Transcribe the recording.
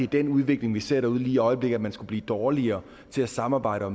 den udvikling vi ser derude lige i øjeblikket man skulle blive dårligere til at samarbejde og